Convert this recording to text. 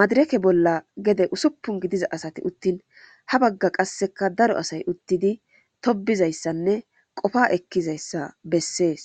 madireke bolla gede usuppun gidiya asati uttin ha bagga qasseka daro asay uttidi tobbizayssanne qofaa ekkizayssa bessees.